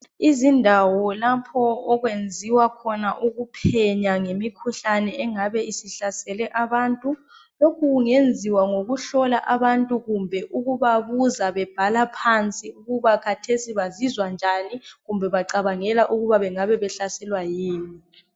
izindawo lapho okwenziwa khona ukuphenya ngemikhuhlane engabe isihlasele abantu lokhu kungenziwa ngokuhlola abantu kumbe ukubabuza bebhala phansi ukuba khathesi bazizwa njani kumbe bacabangela ukuba bengabe behlaselwa kuyini